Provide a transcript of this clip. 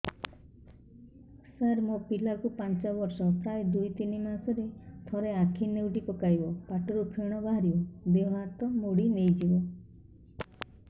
ସାର ମୋ ପିଲା କୁ ପାଞ୍ଚ ବର୍ଷ ପ୍ରାୟ ଦୁଇରୁ ତିନି ମାସ ରେ ଥରେ ଆଖି ନେଉଟି ପକାଇବ ପାଟିରୁ ଫେଣ ବାହାରିବ ଦେହ ହାତ ମୋଡି ନେଇଯିବ